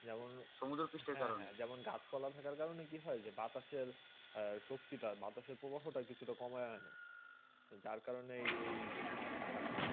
যেমন সমুদ্রাপিস্টরা কারণ যেমন গাছ পাল্লা থাকলে কি হয়ে বাতাসে শক্তি তা বাতাসে প্রভাও তা কম হয়ে যার কারণে আপনার এই কারণ তা হয়ে